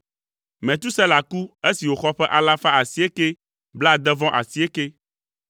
Metusela ku esi wòxɔ ƒe alafa asiekɛ blaade-vɔ-asiekɛ (969).